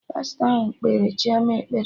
Pastọ ahụ kpere Chioma ekpere